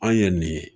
Anw ye nin ye